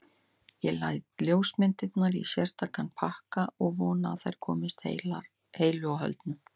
Ég læt ljósmyndirnar í sérstakan pakka og vona að þær komist heilu og höldnu.